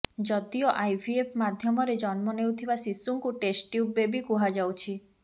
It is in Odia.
ଯଦିଓ ଆଇଭିଏଫ ମାଧ୍ୟମରେ ଜନ୍ମ ନେଉଥିବା ଶିଶୁଙ୍କୁ ଟେଷ୍ଟ ଟ୍ୟୁବ ବେବି କୁହାଯାଉଛି